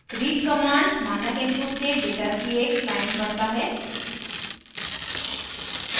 read command मानक input से data की एक line पढ़ता है